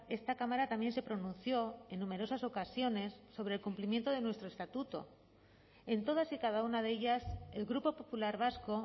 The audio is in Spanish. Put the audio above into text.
esta cámara también se pronunció en numerosas ocasiones sobre el cumplimiento de nuestro estatuto en todas y cada una de ellas el grupo popular vasco